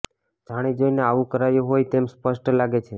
જાણી જોઇને આવું કરાયું હોય તેમ સ્પષ્ટ લાગે છે